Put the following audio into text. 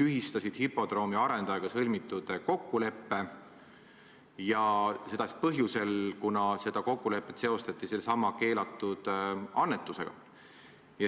tühistasid hipodroomi arendajaga sõlmitud kokkuleppe, seda põhjusel, et seda kokkulepet seostati sellesama keelatud annetusega.